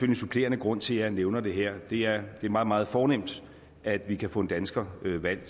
en supplerende grund til at jeg nævner det her det er meget meget fornemt at vi kan få en dansker valgt